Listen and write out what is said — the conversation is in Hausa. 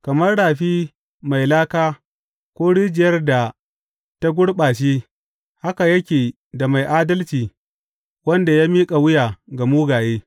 Kamar rafi mai laka ko rijiyar da ta gurɓace haka yake da mai adalci wanda ya miƙa wuya ga mugaye.